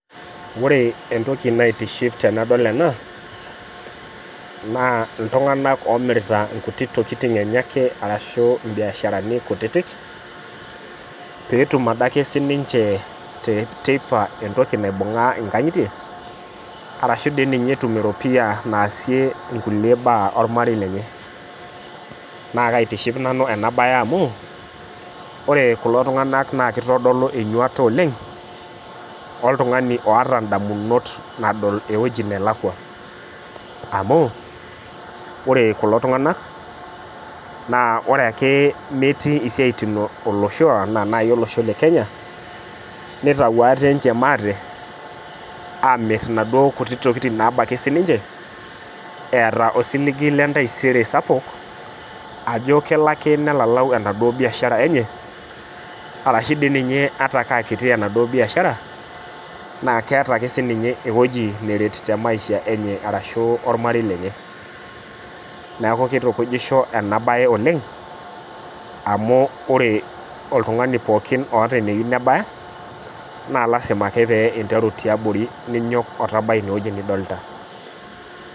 Ore entoki naitiship tanadol ena na ltunganak omirita nkuti tokitin enye ake arashu mbiasharani kutitik petum ake ade sinche teipa entokibnaibungaa nkangitie arashu etum nkulie baa ormarei lenye na kaitiship nanu enabae amu ore kulo tunganak na kitadolu enyuata oleng oltungani oata ndamunot nadol ewoi nalakwa amu ore kulo tunganak na ore ake metii siatin olosho le kenya nitau ate maate amir naduo tokitin nabaki nche eeta osiligi le etaisere sapukbajo kelo ade nelalau enaduo biashara enye arashu dii nye ata aakiti inabiiashara keeta akeenye ewueji naret maisha enye arashu oremarei lenye neaku kitukujisho enabae oleng amu ore oltungani pookin otaa eniga abaya na lasima ake pinteru tiabori ninyok omitabai ineweuji nidolta.